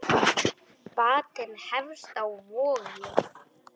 Batinn hefst á Vogi.